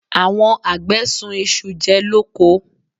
Àwọn àgbẹ̀ sun isu jẹ lóko.